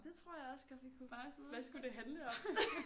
Det tror jeg også godt vi kunne hvad skulle det handle om?